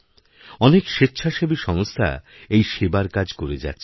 অনেক স্বেচ্ছাসেবী সংস্থা এই সেবার কাজ করে যাচ্ছে